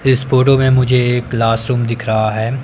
इस फोटो में मुझे एक क्लास रूम दिख रहा है।